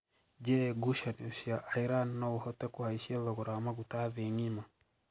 Je gushanio cia Iran noo uhote kuhaishia thogora wa maguta thii ng'ima?